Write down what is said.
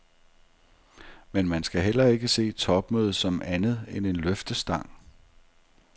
Men man skal heller ikke se topmødet som andet end en løftestang.